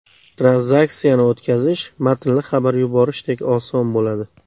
Tranzaksiyani o‘tkazish matnli xabar yuborishdek oson bo‘ladi.